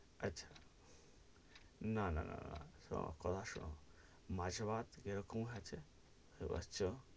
আচ্ছা না না না না শোনো, কথা শোনো মাংস ভাত জেরোম আছে ,